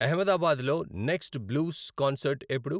అహ్మదాబాద్లో next blues concert ఎప్పుడు